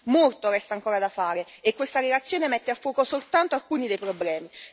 Molto resta ancora da fare e questa reazione mette a fuoco soltanto alcuni dei problemi.